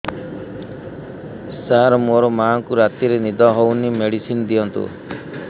ସାର ମୋର ମାଆଙ୍କୁ ରାତିରେ ନିଦ ହଉନି ମେଡିସିନ ଦିଅନ୍ତୁ